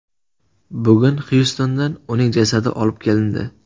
Bugun Xyustondan uning jasadi olib kelindi.